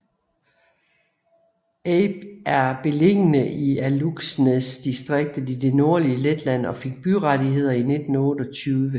Ape er beliggende i Alūksnes distrikt i det nordlige Letland og fik byrettigheder i 1928